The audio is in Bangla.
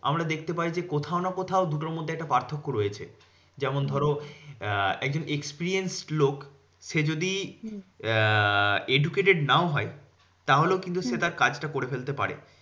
আমরা দেখতে পাই যে, কোথাও না কোথাও দুটোর মধ্যে একটা পার্থক্য রয়েছে। যেমন ধরো আহ একজন experience লোক সে যদি আহ educated নাও হয় তাহলেও কিন্তু সেটা কাজটা করে ফেলতে পারে।